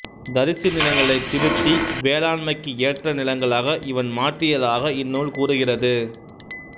தரிசு நிலங்களைத் திருத்தி வேளாண்மைக்கு ஏற்ற நிலங்களாக இவன் மாற்றியதாக இந் நூல் கூறுகிறது